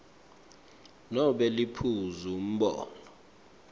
nobe liphuzu umbono